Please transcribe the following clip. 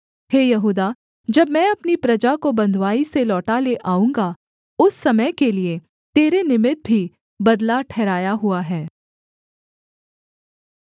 हे यहूदा जब मैं अपनी प्रजा को बँधुआई से लौटा ले आऊँगा उस समय के लिये तेरे निमित्त भी बदला ठहराया हुआ है